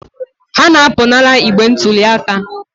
Ha na-apụnara igbe ntụli aka.